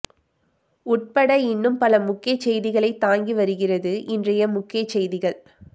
உட்பட இன்னும் பல முக்கிய செய்திகளை தாங்கி வருகிறது இன்றைய முக்கிய செய்திகள்